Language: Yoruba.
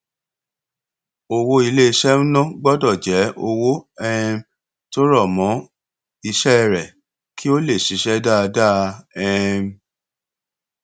owó iléiṣẹ ń ná gbọdọ jẹ owó um tó rọ mọ iṣẹ rẹ kí ó lè ṣiṣẹ dáadáa um